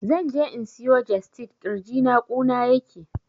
Zan je in siyo jestid, ƙirjina ƙuna yake